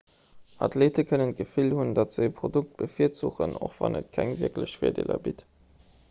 athleete kënnen d'gefill hunn datt se ee produkt bevirzuchen och wann et keng wierklech virdeeler bitt